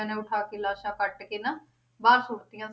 ਨੇ ਉਠਾ ਕੇ ਲਾਸ਼ਾਂ ਕੱਟ ਕੇ ਨਾ ਬਾਹਰ ਸੁੱਟ ਦਿੱਤੀਆਂ